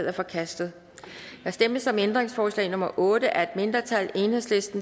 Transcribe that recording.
er forkastet der stemmes om ændringsforslag nummer otte af et mindretal